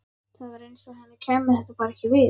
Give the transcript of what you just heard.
Það var eins og henni kæmi þetta bara ekkert við.